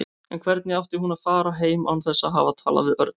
En hvernig átti hún að fara heim án þess að hafa talað við Örn?